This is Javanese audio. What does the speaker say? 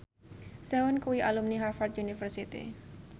Sehun kuwi alumni Harvard university